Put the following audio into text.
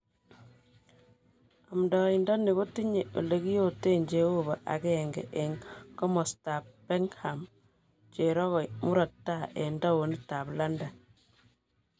Amdoindoni kotinye elekiyoten jeobo agenge eng komostab Peckham cherogoi murot tai eng townit ab London.